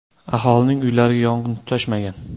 Aholining uylariga yong‘in tutashmagan.